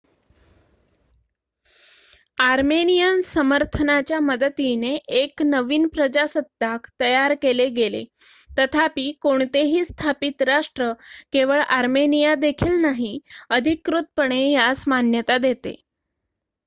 Armenian समर्थनाच्या मदतीने एक नवीन प्रजासत्ताक तयार केले गेले तथापि कोणतेही स्थापित राष्ट्र केवळ आर्मेनिया देखील नाही अधिकृतपणे यास मान्यता देते